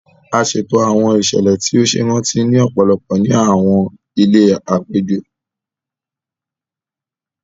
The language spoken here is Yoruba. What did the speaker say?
A ṣeto awọn iṣẹlẹ ti o ṣe iranti ni ọpọlọpọ ní awọn ilé apejọ